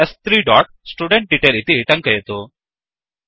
स्3 dot student detail इति टङ्कयतु